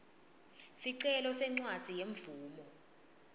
sicelo sencwadzi yemvumo